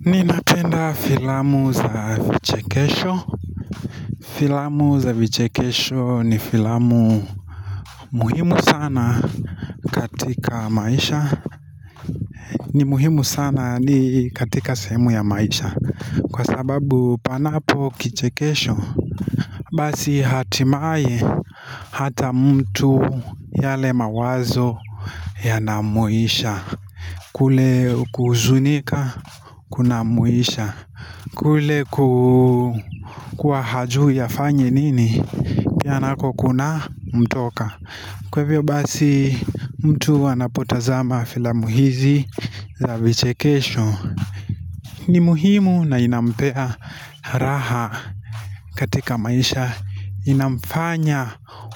Ninapenda filamu za vichekesho Filamu za vichekesho ni filamu muhimu sana katika maisha ni muhimu sana ni katika sehemu ya maisha Kwa sababu panapo kichekesho Basi hatimaye hata mtu yale mawazo ya na muisha kule kuhuzunika kuna muisha kule kuwa hajui afanye nini Pia nako kuna mtoka Kwa hivyo basi mtu anapotazama filamu hizi za vichekesho ni muhimu na inampea raha katika maisha Inamfanya